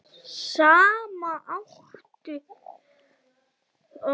Saman áttu þau tvo syni.